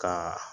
Ka